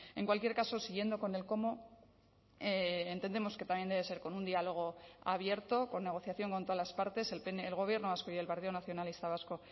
en cualquier caso siguiendo con el cómo entendemos que también debe ser con un diálogo abierto con negociación con todas las partes el gobierno vasco y el partido nacionalista vasco